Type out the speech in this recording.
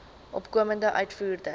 opkomende uitvoerders